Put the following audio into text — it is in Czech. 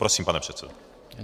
Prosím, pane předsedo.